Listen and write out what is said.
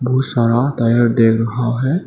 बहुत सारा टायर ढेर रखा है।